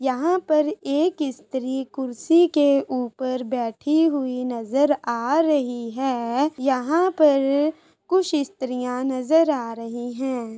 यहाँं पर एक स्त्री कुर्सी के उपर बैठी हुई नजर आ रही है यहाँं पर कुछ स्त्रीयां नजर आ रही है।